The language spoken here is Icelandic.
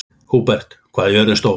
Húbert, hvað er jörðin stór?